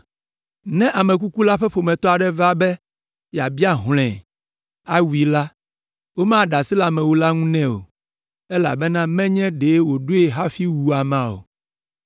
Ne ame kuku la ƒe ƒometɔ aɖe va be yeabia hlɔ̃e, awui la, womaɖe asi le amewula la ŋu nɛ o, elabena menye ɖe wòɖoe hafi wu amea o.